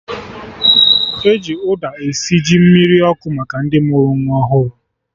E ji ụda esi ji mmiri ọkụ maka ndị mụrụ nwa ọhụrụ